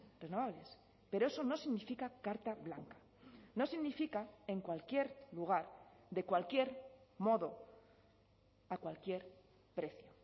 renovables pero eso no significa carta blanca no significa en cualquier lugar de cualquier modo a cualquier precio